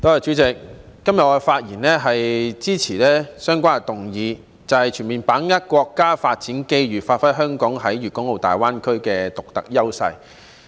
主席，今天我發言支持相關議案，即"全面把握國家發展機遇，發揮香港在粵港澳大灣區的獨特優勢"。